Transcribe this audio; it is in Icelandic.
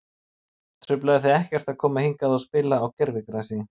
Truflaði þig ekkert að koma hingað og spila á gervigrasi?